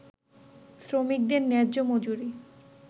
শ্রমিকদের ন্যায্য মজুরি